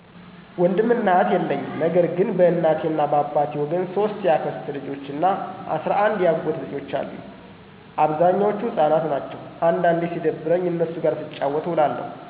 ወንድም እና እህት የለኝም ነገር ግን በእናቴ እና በአባቴ ወገን 3 የአክስት ልጆች እና 11 የአጎት ልጆች አሉኝ። አብዛኞቹ ህፃናት ናቸው። አንዳንዴ ሲደብረኝ እነሱ ጋር ስጫወት እውላለሁ።